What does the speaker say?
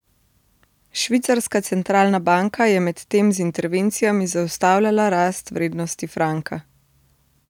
Švicarska centralna banka je medtem z intervencijami zaustavljala rast vrednosti franka.